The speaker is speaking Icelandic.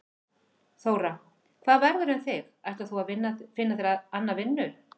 Þóra: Hvað verður með þig, ætlar þú að finna þér anna vinnu?